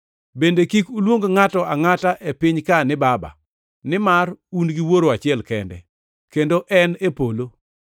Bende kik uluong ngʼato angʼata e piny-ka ni ‘Baba,’ nimar un gi Wuoro achiel kende, kendo en e polo.